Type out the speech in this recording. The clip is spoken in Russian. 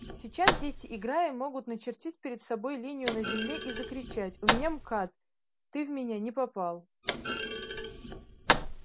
сейчас дети играя могут начертить перед собой линию на земле и закричать у меня мкад ты в меня не попал